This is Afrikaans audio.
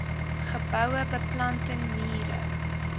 geboue beplanting mure